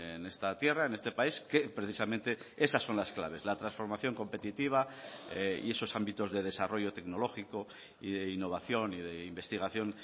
en esta tierra en este país que precisamente esas son las claves la transformación competitiva y esos ámbitos de desarrollo tecnológico y de innovación y de investigación